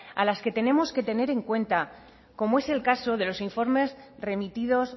a las que tenemos que tener en cuenta como es el caso de los informes remitidos